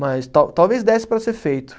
Mas tal talvez desse para ser feito.